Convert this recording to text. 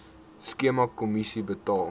skema kommissie betaal